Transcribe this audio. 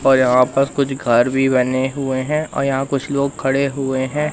और यहां पास कुछ घर भी बने हुए हैं और यहां कुछ लोग खड़े हुए हैं।